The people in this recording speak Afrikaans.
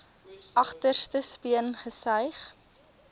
agterste speen gesuig